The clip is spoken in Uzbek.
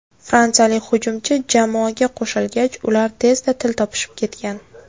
Fransiyalik hujumchi jamoaga qo‘shilgach, ular tezda til topishib ketgan.